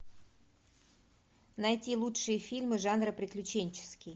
найти лучшие фильмы жанра приключенческий